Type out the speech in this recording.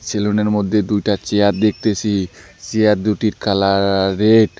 ছেলুনের মধ্যে দুইটা চেয়ার দেখতেসি চেয়ার দুইটির কালার রেড ।